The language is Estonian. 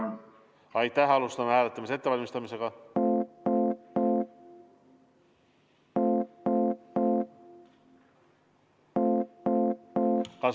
Kas võime minna hääletuse juurde?